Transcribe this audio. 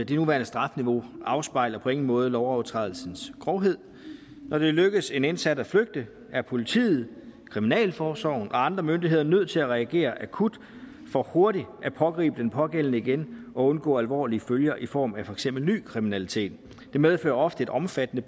det nuværende strafniveau afspejler på ingen måde lovovertrædelsens grovhed når det lykkes en indsat at flygte er politiet kriminalforsorgen og andre myndigheder nødt til at reagere akut for hurtigt at pågribe den pågældende igen og undgå alvorlige følger i form af for eksempel ny kriminalitet det medfører ofte et omfattende